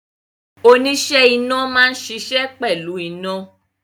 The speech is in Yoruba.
Oníṣẹ́ iná máa ń ṣiṣẹ́ pẹ̀lú iná